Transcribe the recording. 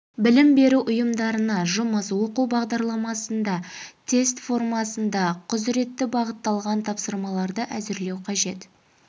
білім беру ұйымдарына жұмыс оқу бағдарламасында тест формасында құзыретті бағытталған тапсырмаларды әзірлеу қажет